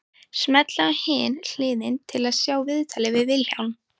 Smellið á Hin hliðin til að sjá viðtalið við Vilhjálm.